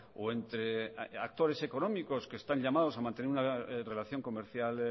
o entre actores económicos que están llamados a mantener una relación comercial